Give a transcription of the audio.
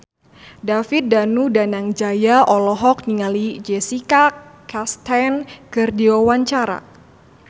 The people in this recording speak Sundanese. David Danu Danangjaya olohok ningali Jessica Chastain keur diwawancara